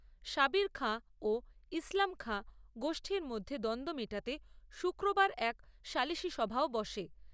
সাবির খাঁ ও ইসলাম খাঁ গোষ্ঠীর মধ্যে দ্বন্দ্ব মেটাতে শুক্রবার এক সালিশিসভাও বসে।